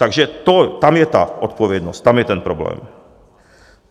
Takže tam je ta odpovědnost, tam je ten problém.